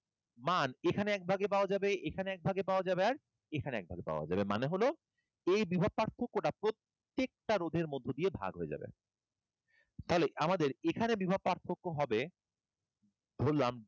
মান এখানে এক ভাগে পাওয়া যাবে, এখানে এক ভাগে পাওয়া যাবে আর এখানে এক ভাগে পাওয়া যাবে মানে হল এই বিভব পার্থক্যটা প্রত্যেকটা রোধের মধ্য দিয়ে ভাগ হয়ে যাবে। তাহলে আমাদের এখানে বিভব পার্থক্য হবে, ধরলাম delta,